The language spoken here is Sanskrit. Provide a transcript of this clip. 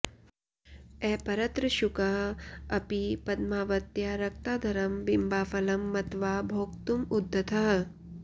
अपरत्र शुकः अपि पद्मावत्याः रक्ताधरं बिम्बाफलं मत्वा भोक्तुम् उद्यतः